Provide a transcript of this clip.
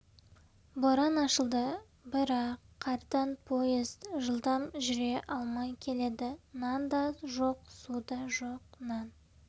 боран ашылды бірақ қардан поезд жылдам жүре алмай келеді нан да жоқ су да жоқ нан